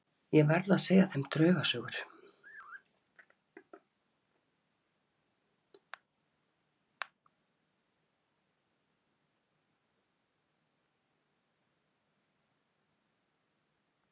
Ég verð að segja þeim draugasögur.